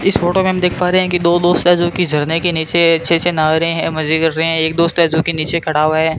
इस फोटो में हम देख पा रहे हैं कि दो दोस्त है जो कि झरने के नीचे अच्छे से नहा रहे हैं मजे कर रहे हैं एक दोस्त है जो कि नीचे खड़ा हुआ है।